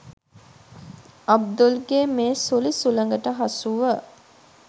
අබ්දුල්ගේ මේ සුළි සුළඟට හසුව